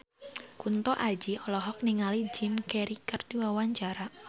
Kunto Aji olohok ningali Jim Carey keur diwawancara